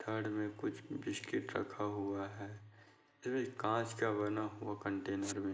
थड में कुछ बिस्किट रखा हुआ है काँच का बना हुआ कंटेनर में--